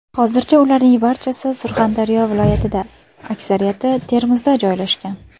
Hozircha ularning barchasi Surxondaryo viloyatida, aksariyati Termizda joylashgan.